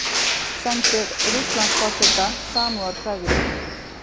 Sendir Rússlandsforseta samúðarkveðjur